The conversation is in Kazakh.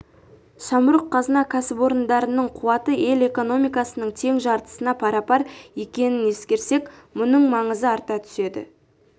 самұрық-қазына кәсіпорындарының қуаты ел экономикасының тең жартысына пара-пар екенін ескерсек мұның маңызы арта түседі